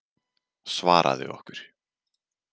Svaraðu okkur.